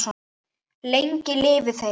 Lengi lifi þeir!